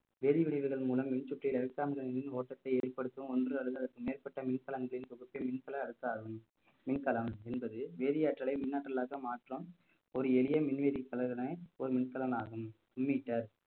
வேதி விளைவுகள் மூலம் மின் சுற்றியுள்ள மின் ஓட்டத்தை வெளிப்படுத்தும் ஒன்று அல்லது அதற்கு மேற்பட்ட மின்சாரங்களின் தொகுப்பை மின்கல அரசு ஆகும் மின்கலம் என்பது வேதி ஆற்றலை மின்னாற்றலாக மாற்றும் ஒரு எளிய மின்வேதித் தலைவனை ஒரு மின்கலனாகும் மின் metre